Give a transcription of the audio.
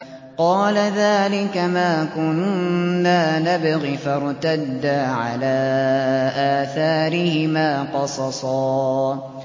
قَالَ ذَٰلِكَ مَا كُنَّا نَبْغِ ۚ فَارْتَدَّا عَلَىٰ آثَارِهِمَا قَصَصًا